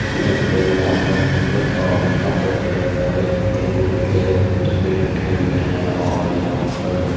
यह कोई मॉल का फोटो है और यहाँ पे ढेर सारे तेल-वेल के डब्बे रखे हुए है और यहाँ पर--